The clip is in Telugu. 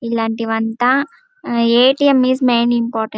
ఇలాంటివంత ఎటిఎం ఐస్ మెయిన్ ఇంపార్టెంట్ .